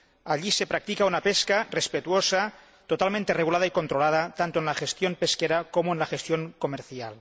Allí se practica una pesca respetuosa, totalmente regulada y controlada, tanto en la gestión pesquera como en la gestión comercial.